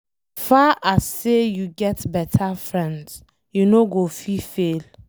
As far as sey you get beta friends, you no go fit fail